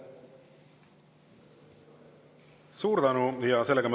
Suur tänu!